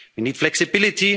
or the next crisis.